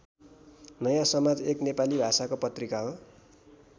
नयाँ समाज एक नेपाली भाषाको पत्रिका हो।